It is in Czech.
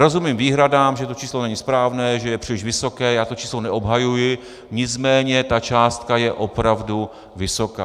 Rozumím výhradám, že to číslo není správné, že je příliš vysoké, já to číslo neobhajuji, nicméně ta částka je opravdu vysoká.